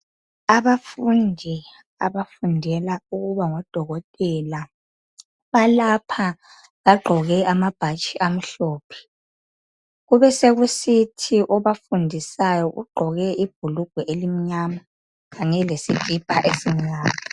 Abafundi abafundela ukuba ngodokotela balapha bagqoke amabhatshi amhlophe kubesekusithi obafundisayo ugqoke ibhulugwe elimnyama kanye lesikipha esimnyama.